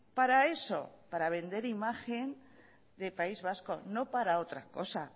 para eso para vender imagen de país vasco no para otra cosa